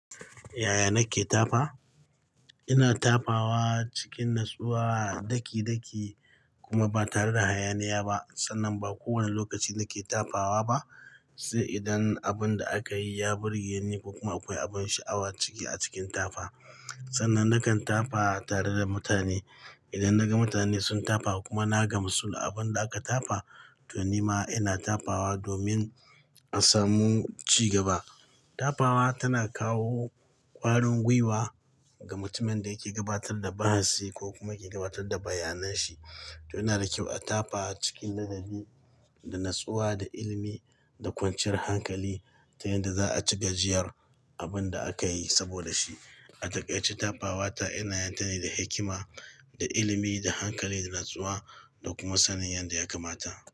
Yaya na ke tafa? Ina tafawa cikin natsuwa, daki-daki kuma ba tare da hayaniya ba. Sannan ba kowani lokaci na ke tafawa ba, sai idan abin da aka yi ya burge ni ko kuma akwai abin sha'awa ciki a cikin tafa. Sannan na kan tafa tare da mutane. Idan naga mutane sun tafa kuma na gamsu da abin da aka tafa, to ni ma ina tafawa domin a samu ci gaba. Tafawa tana kawo ƙwarin gwiwa ga mutumin da yake gabatar da bahasi ko kuma yake gabatar da bayanan shi. To ina da kyau a tafa cikin ladabi, da natsuwa, da ilimi, da kwanciyar hankali ta yanda za'a ci gajiyar abin da aka yi saboda shi. A takaice tafawa ta ina yin ta ne da hikima, da ilimi, da hankali, da natsuwa da kuma sanin yadda ya kamata.